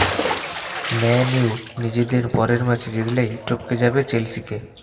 man U নিজেদের পরের ম্যাচে জিতলেই টপকে যাবে চেলসিকে